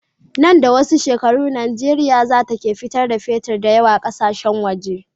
Nan da wasu shekaru nigeria zata ke fitar da fetir dayawa ƙasashen waje